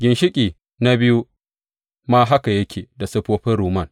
Ginshiƙi na biyu ma haka yake da siffofin rumman.